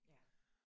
Ja